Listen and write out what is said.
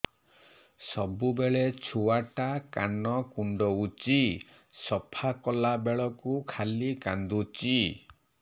ସବୁବେଳେ ଛୁଆ ଟା କାନ କୁଣ୍ଡଉଚି ସଫା କଲା ବେଳକୁ ଖାଲି କାନ୍ଦୁଚି